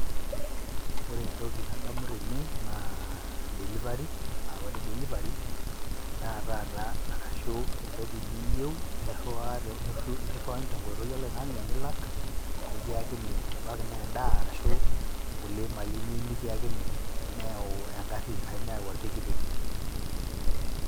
Ore entoki nadamu tene naa delivery aa ore delivery endaa taata arashu entoki niyeu niriwaa niriwa niru nikiriwakini te nkoitoi oloing'ang'e nilak nekiyakini. Ebaiki naa endaa arashu nkulie malin niyiu nekiakini, neyau eng'ari arashu neyau orpikipik.